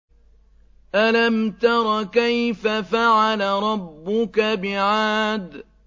أَلَمْ تَرَ كَيْفَ فَعَلَ رَبُّكَ بِعَادٍ